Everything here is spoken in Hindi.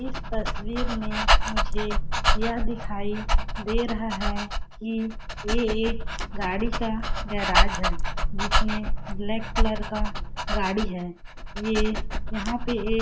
इस तस्वीर में मुझे यह दिखाई दे रहा है कि ये एक गाड़ी का गैराज है जिसमें ब्लैक कलर का गाड़ी है ये यहां पे --